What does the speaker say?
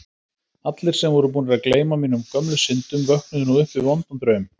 Allir sem voru búnir að gleyma mínum gömlu syndum vöknuðu nú upp við vondan draum.